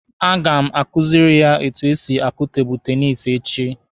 A ga m akuziri ya etu esi akụ tebụlụ tenisi echi.